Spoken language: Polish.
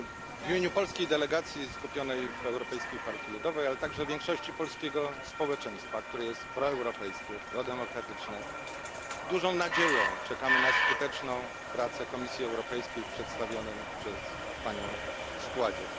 W imieniu polskiej delegacji skupionej w Europejskiej Partii Ludowej, ale także większości polskiego społeczeństwa, które jest proeuropejskie, prodemokratyczne, z dużą nadzieją czekamy na skuteczną pracę Komisji Europejskiej w przedstawionym przez Panią składzie.